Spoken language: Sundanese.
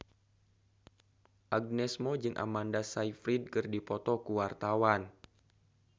Agnes Mo jeung Amanda Sayfried keur dipoto ku wartawan